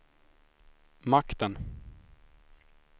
makten